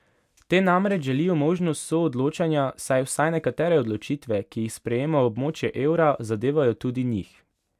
Te namreč želijo možnost soodločanja, saj vsaj nekatere odločitve, ki jih sprejema območje evra, zadevajo tudi njih.